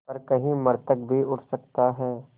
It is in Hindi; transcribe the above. पर कहीं मृतक भी उठ सकता है